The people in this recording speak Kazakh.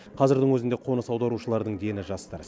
қазірдің өзінде қоныс аударушылардың дені жастар